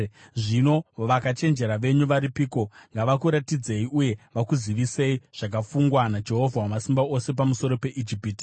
Zvino vakachenjera venyu varipiko? Ngavakuratidzei uye vakuzivisei zvakafungwa naJehovha Wamasimba Ose pamusoro peIjipiti.